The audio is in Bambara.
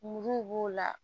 Muruw b'o la